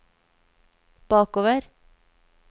bakover